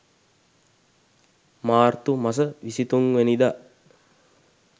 මාර්තු මස 23 වැනිදා